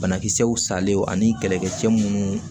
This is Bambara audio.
Banakisɛw salen ani kɛlɛkɛ cɛ minnu